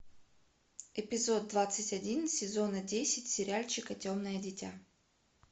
эпизод двадцать один сезона десять сериальчика темное дитя